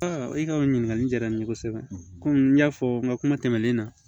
i ka o ɲininkali diyara n ye kosɛbɛ komi n y'a fɔ n ka kuma tɛmɛnen na